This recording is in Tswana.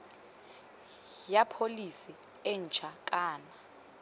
ya pholese e ntšha kana